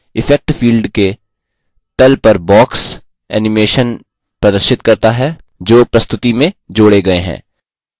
effect field के the पर box animations प्रदर्शित करता है जो प्रस्तुति में जोड़े गये हैं